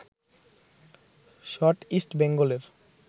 shot East বেঙ্গলের